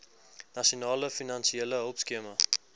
nasionale finansiële hulpskema